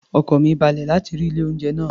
Ọkàn mi balẹ̀ láti rí ilé-oúnjẹ náà